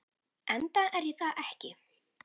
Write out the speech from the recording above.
Enda er ég það ekki.